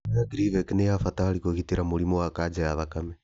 Ndawa ya Gleevec nĩ ya bata harĩ kũrigita mũrimũ wa kanja ya thakame